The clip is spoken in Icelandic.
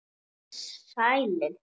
Verið þér sælir.